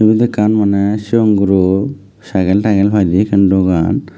yot ekkan mane sigon guro sykel tykel paide ekkan dogan.